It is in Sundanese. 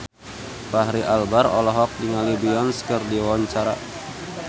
Fachri Albar olohok ningali Beyonce keur diwawancara